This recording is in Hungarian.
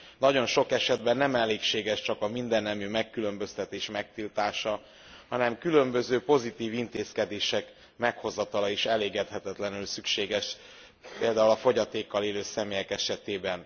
Nagyon sok esetben nem elégséges pusztán a mindennemű megkülönböztetés megtiltása, hanem különböző pozitív intézkedések meghozatala is elengedhetetlenül szükséges például a fogyatékkal élő személyek esetében.